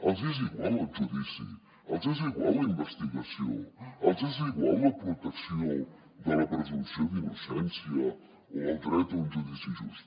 els hi és igual el judici els hi és igual la investigació els hi és igual la protecció de la presumpció d’innocència o el dret a un judici just